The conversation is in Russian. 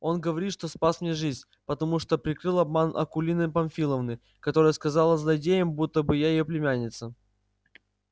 он говорит что спас мне жизнь потому что прикрыл обман акулины памфиловны которая сказала злодеям будто бы я её племянница